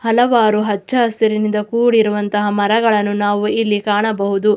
ಹಲವಾರು ಹಚ್ಚ ಹಸಿರಿನಿಂದ ಕೂಡಿರುವಂತಹ ಮರಗಳನ್ನು ನಾವು ಇಲ್ಲಿ ಕಾಣಬಹುದು.